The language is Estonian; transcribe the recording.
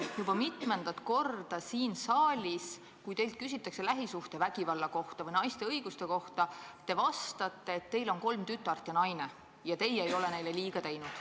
Juba mitmendat korda, kui teilt siin saalis küsitakse lähisuhtevägivalla või naiste õiguste kohta, te vastate, et teil on kolm tütart ja naine ning te ei ole neile liiga teinud.